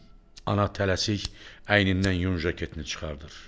Ana tələsik əynindən yun jaketini çıxarır.